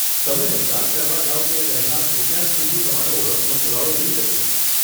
તમે મતદાન કરવા જાઓ તે પહેલાં કૃપયા શું હું તમારો ઓળખનો પુરાવો જોઈ શકું?